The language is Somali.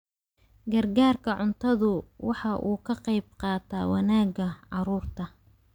Gargaarka cuntadu waxa uu ka qayb qaataa wanaagga carruurta.